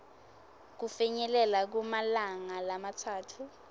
kufinyelela kumalanga lamatsatfu